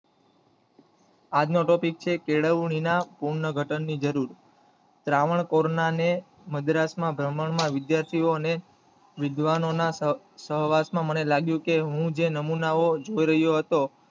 આજ નો ટોપિક છે કેળવણી ના પૂર્ણ ઘટન ની જરુર, રાવણકુળ ના મદ્રાસ માં બ્ર્હ્માં માં વિદ્યાર્થીઓ ને વિધસવાનો ના સહવાસ માં મને લાગ્યું કે જે નમૂનાઓ હું જોઈ રહ્યો હતો